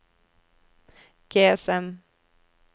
GSM